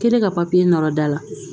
Kɛlen ka papiye nɔrɔ da la